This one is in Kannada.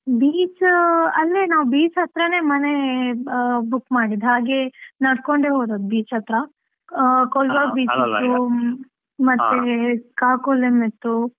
Beach ಅಂದ್ರೆ, ನಾವ್ beach ಹತ್ರನೇ ಮನೆ book ಮಾಡಿದ್ದು ಹಾಗೆ ನಡ್ಕೊಂಡೆ ಹೋದದ್ದು beach ಹತ್ರ. ಆ Colva beach Kakolem beach ಇತ್ತು.